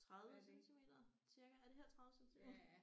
30 centimeter cirka er det her 30 centimeter